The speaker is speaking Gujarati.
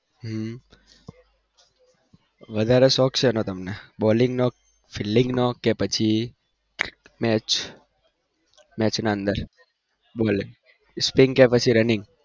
હમ વધારે શોખ સેનો તમને bowling નો flelding નો કે પછી match, match ના અંદર spin કે પછી running?